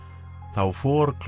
þá